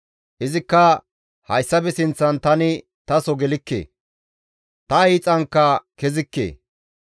Izikka, «Hayssafe sinththan tani taso gelikke; ta hiixankka kezikke;